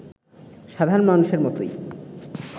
সাধারণ মানুষের মতোই